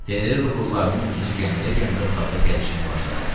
Ferrero bığlarının ucunu gəmirə-gəmirə otaqda gəzişməyə başladı.